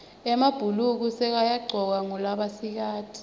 emabhuluko sekayagcokwa ngulabasikati